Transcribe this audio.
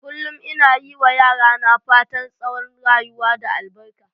Kullum ina yi ma yara na fatan tsawon rayuwa da albaka.